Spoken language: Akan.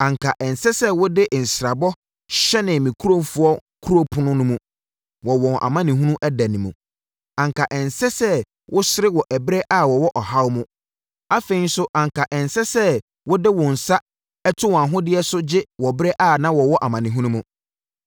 Anka ɛnsɛ sɛ wode nsrabɔ hyɛne me nkurɔfoɔ kuro apono no mu wɔ wɔn amanehunu ɛda, anka ɛnsɛ sɛ wosere wɔ ɛberɛ a wɔwɔ ɔhaw mu. Afei nso anka ɛnsɛ sɛ wode wo nsa to wɔn ahodeɛ so gye wɔ ɛberɛ a wɔwɔ amanehunu mu.